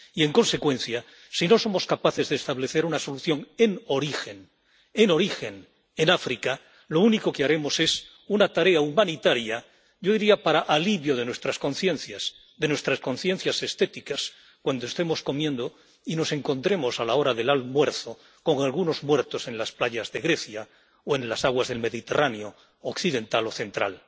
Y, en consecuencia, si no somos capaces de establecer una solución en origen —en origen— en África, lo único que haremos es una tarea humanitaria, yo diría para alivio de nuestras conciencias —de nuestras conciencias estéticas— cuando estemos comiendo y nos encontremos, a la hora del almuerzo, con algunos muertos en las playas de Grecia o en las aguas del Mediterráneo occidental o central.